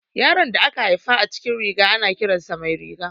Yaron da aka haifa a cikin riga, ana kiran sa Mairiga.